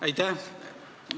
Aitäh!